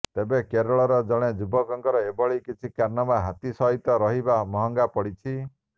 ତେବେ କେରଳର ଜଣେ ଯୁବକଙ୍କର ଏଭଳି କିଛି କାରନାମା ହାତୀ ସହିତ କରିବା ମହଙ୍ଗା ପଡ଼ିଛି